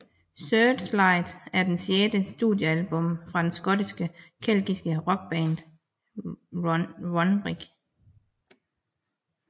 Searchlight er det sjette studiealbum fra den skotske keltiske rockband Runrig